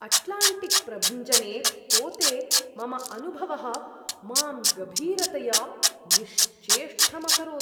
अट्लाण्टिक्प्रभञ्जने पोते मम अनुभवः मां गभीरतया निश्चेष्टम् अकरोत्।